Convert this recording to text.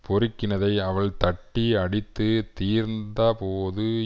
பொறுக்கினதை அவள் தட்டி அடித்து தீர்ந்தபோது